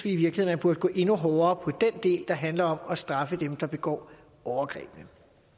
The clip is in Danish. i virkeligheden burde gå endnu hårdere på den del der handler om at straffe dem der begår overgrebene